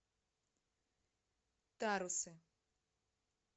тарусы